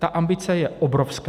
Ta ambice je obrovská.